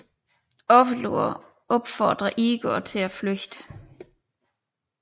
Ovlur opfordrer Igor til at flygte